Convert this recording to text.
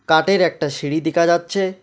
কাটের একটা সিঁড়ি দেকা যাচ্চে।